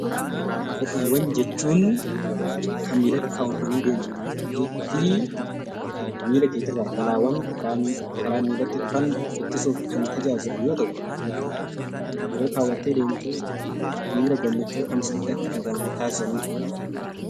Kopheewwan jechuun kan miilatti kaawwatanii deemanii fi miila keetirraa balaawwan karaa miilatti dhufan ittisuuf kan tajaajilu yoo ta'u, yeroo kaawwattee deemtu miira gammachuu kan sitti akka dhaga'amu taasisanii dha.